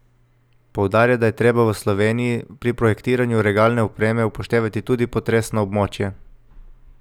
Poudarja, da je treba v Sloveniji pri projektiranju regalne opreme upoštevati tudi potresno območje.